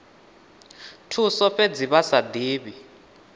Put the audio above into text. thuso fhedzi vha sa divhi